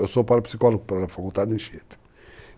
Eu sou parapsicólogo pela Faculdade Anchieta.